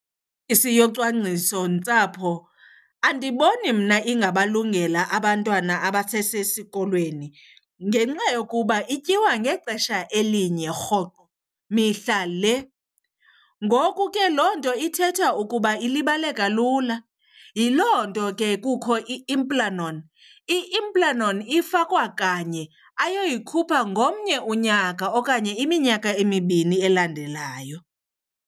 yocwangcisontsapho andiboni mna ingabalungela abantwana abasesesikolweni ngenxa yokuba ityiwa ngexesha elinye rhoqo, mihla le. Ngoku ke loo nto ithetha ukuba ilibaleka lula. Yiloo nto ke kukho i-implanon. I-implanon ifakwa kanye ayoyikhupha ngomnye unyaka okanye iminyaka emibini elandelayo.